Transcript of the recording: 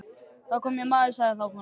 Það kom hér maður, sagði þá konan.